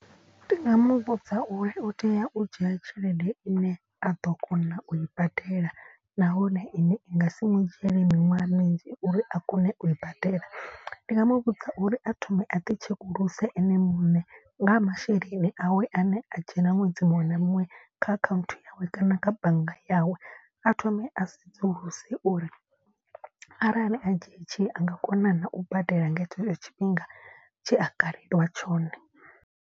Ndi nga mu vhudza uri u tea u dzhia tshelede i ne a ḓo kona u i badela. Nahone ine i nga si mu dzhiele miṅwaha minzhi uri a kone u i badela. Ndi nga mu vhudza uri a thome a ḓi tshekuluse ene muṋe nga masheleni awe a ne a dzhena ṅwedzi muṅwe na muṅwe kha account yawe kana kha bannga yawe. A thome a sedzuluse uri arali a dzhia itshi a nga kona na u badela nga tshetsho tshifhinga tshe a kaleliwa tshone.